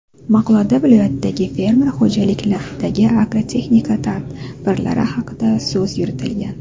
Maqolada viloyatdagi fermer xo‘jaliklaridagi agrotexnika tadbirlari haqidagi so‘z yuritilgan.